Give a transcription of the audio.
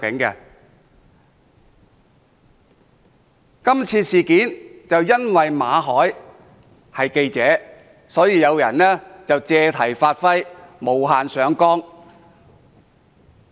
今次事件因為主角馬凱是記者，所以有人借題發揮，無限上綱。